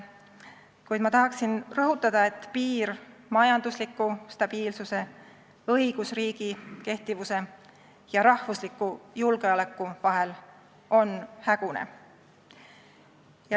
Kuid ma tahaksin rõhutada, et piir majandusliku stabiilsuse, õigusriigi kehtivuse ja rahvusliku julgeoleku vahel on siin hägune.